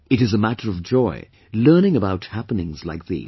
It is a matter of joy learning about happenings like these